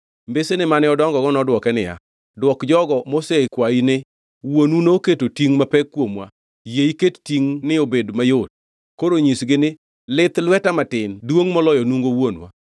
Mbesene mane odongogo nodwoke niya, “Dwok jogo mosekwayi ni, ‘Wuonu noketo tingʼ mapek kuomwa, yie iket tingʼni obed mayot.’ Koro nyisgi ni, ‘Lith lweta matin duongʼ moloyo nungo wuonwa.